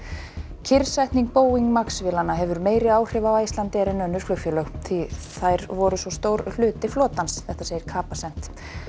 kyrrsetning Boeing MAX vélanna hefur meiri áhrif á Icelandair en önnur flugfélög því þær voru svo stór hluti flotans segir Capacent